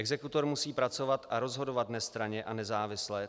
Exekutor musí pracovat a rozhodovat nestranně a nezávisle.